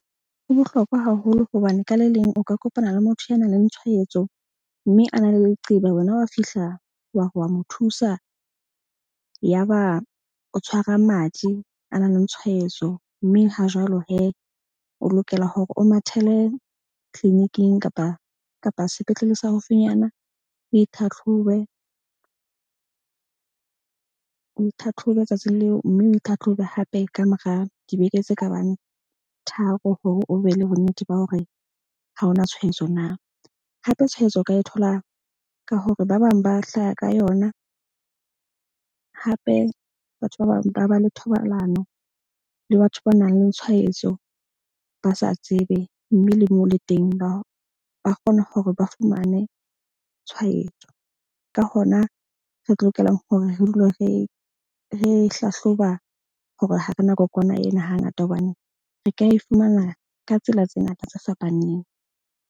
Ho bohlokwa haholo hobane ka le leng o ka kopana le motho ya na leng tshwaetso. Mme a na le leqeba. Wena wa fihla, wa re wa mo thusa, ya ba o tshwara madi a nang le tshwaetso. Mme ha jwalo o lokela hore o mathele clinic-ing kapa sepetlele se haufinyana. O itlhatlhobe, o itlhatlhobe letsatsing leo, mme o itlhatlhobe hape ka mora dibeke tse ka bang tharo. Hore o be le bonnete ba hore ha ho na tshwaetso na. Hape tshwaetso o ka e thola ka hore ba bang ba hlaha ka yona. Hape, batho ba bang ba ba le thobalano le batho ba nang le tshwaetso ba sa tsebe. Mme le moo le teng ba kgona hore ba fumane tshwaetso. Ka hona, re tlo lokelang hore re dule re hlahloba hore ha rena kokwana ena ha ngata, hobane re ka e fumana ka tsela tse ngata tse fapaneng.